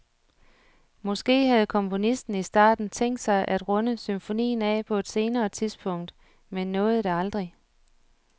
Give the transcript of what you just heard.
Måske havde komponisten i starten tænkt sig at runde symfonien af på et senere tidspunkt men nåede det aldrig.